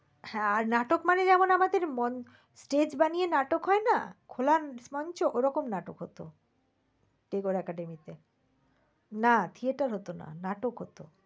হ্যাঁ আর নাটক মানে যেমন আমাদের যেমন মঞ্চ stage বানিয়ে নাটক হয়না? খোলা মঞ্চ ওই রকম নাটক হত। tabour academy তে। না theater হত না নাটক হত।